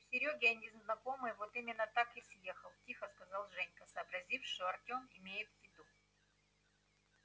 у серёги один знакомый вот именно так и съехал тихо сказал женька сообразив что артём имеет в виду